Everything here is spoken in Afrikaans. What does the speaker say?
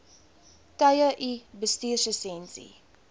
tye u bestuurslisensie